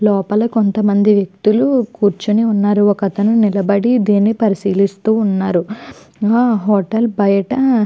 లోపల కొంతమంది వ్యక్తులు కూర్చుని ఉన్నారు ఒకతను నిలబడి దేని పరిశీలిస్తూ ఉన్నారు ఆ హోటల్ బయట.